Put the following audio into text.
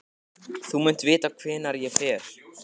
Þú munt vita hvert ég fer.